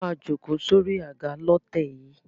A máa jókòó sórí àga lọ́tẹ̀ yìí.